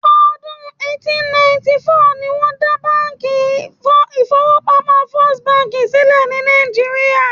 Ọdún eighteen ninety four ni wọ́n dá ilé ìfọwọ́pamo First bank sílẹ̀ ní Nàìjíría.